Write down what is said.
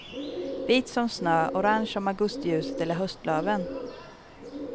Vit som snö, orange som augustiljuset eller höstlöven.